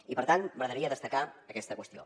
i per tant m’agradaria destacar aquesta qüestió